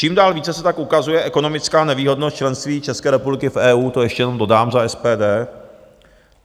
Čím dál více se tak ukazuje ekonomická nevýhodnost členství České republiky v EU - to ještě jenom dodám za SPD.